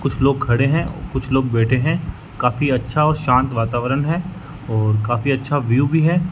कुछ लोग खड़े हैं कुछ लोग बैठे हैं काफी अच्छा और शांत वातावरण है और काफी अच्छा व्यू भी है।